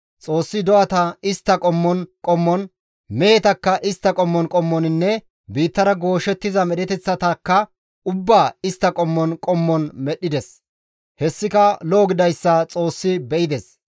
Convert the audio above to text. Xoossi do7ata istta qommon qommon, mehetakka istta qommon qommoninne biittara gooshettiza medheteththatakka ubbaa istta qommon qommon medhdhides; hessika lo7o gididayssa Xoossi be7ides.